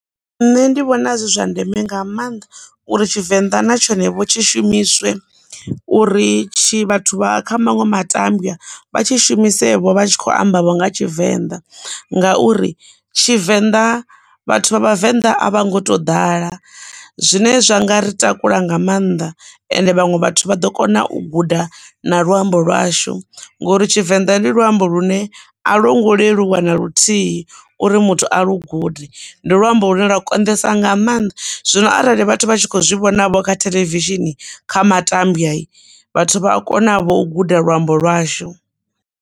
Nṋe ndi vhona zwi zwa ndeme nga maanḓa uri Ṱshivenḓa na tshone vho tshi shumiswe, uri tshi vhathu vha kha maṅwe matambya vha tshi shumise vho vha tshi kho amba vho nga Tshivenḓa. Ngauri Tshivenḓa vhathu vha vhavenḓa a vha ngo to ḓala zwine zwa nga ri takula nga maanḓa, ende vhaṅwe vhathu vha ḓo kona u guda na luambo lwashu ngori Tshivenḓa ndi luambo lune a longo leluwa na luthihi uri muthu a lu gude ndi luambo lu ne lwa konesa nga maanḓa zwino arali vhathu vha tshi kho zwi vhonavho kha theḽevishini kha matambya vhathu vha a kona vho guda luambo lwashu.